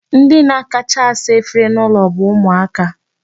Ndi na-akacha asa efere n'ụlọ bụ ụmụaka.